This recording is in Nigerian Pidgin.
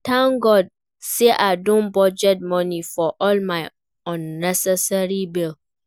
Thank God say I don budget money for all my unnecessary bill